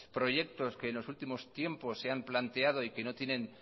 proyectos que en los últimos tiempos se han planteado y que no tienen